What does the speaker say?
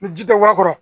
Ni ji tɛ guga